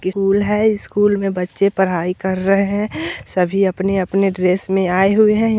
School है school में बच्चे पढाई कर रहे है सभी अपने-अपने ड्रेस में आये हुए है।